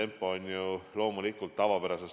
– peavad praegu hoidma, on loomulikult erakordne.